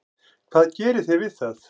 Hvað gerið þið við það?